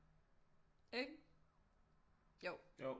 Ikke jo